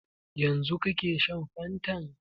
Yanzu kake shan fantan?